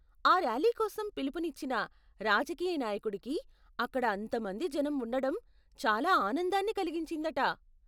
ఆ ర్యాలీ కోసం పిలుపునిచ్చిన రాజకీయ నాయకుడికి అక్కడ అంత మంది జనం ఉండడం చాలా ఆనందాన్ని కలిగించిందట.